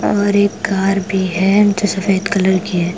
और एक घर भी है जो सफेद कलर की है।